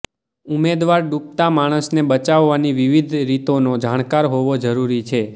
ઉમેદવાર ડૂબતા માણસને બચાવવાની વિવિધ રીતોનો જાણકાર હોવો જરૂરી છે